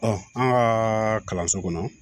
an ka kalanso kɔnɔ